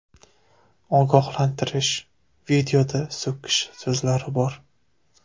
Ogohlantirish: videoda so‘kish so‘zlari bor.